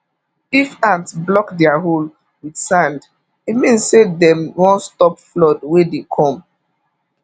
if ant block their hole with sand e mean say dem wan stop flood wey dey come